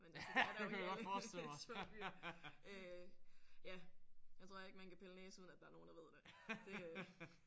Men altså det er der jo i alle små byer. Øh ja jeg tror ikke man kan pille næse uden at der er nogen der ved det det øh